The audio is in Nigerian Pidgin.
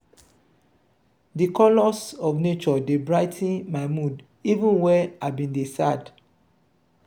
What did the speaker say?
di colors of nature dey brigh ten my mood even wen i bin dey sad.